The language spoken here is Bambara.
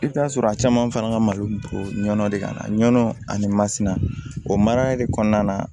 I bɛ t'a sɔrɔ a caman fana ka malo togo ɲɔn de ka na nɔnɔ ani masina o mara yɛrɛ kɔnɔna na